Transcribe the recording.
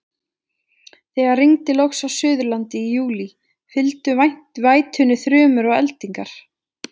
Þegar rigndi loks á Suðurlandi í júlí, fylgdu vætunni þrumur og eldingar.